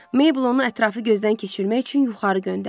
Mabel onu ətrafı gözdən keçirmək üçün yuxarı göndərdi.